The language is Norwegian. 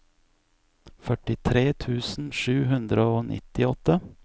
førtitre tusen sju hundre og nittiåtte